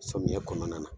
Samiyɛ kɔnɔna na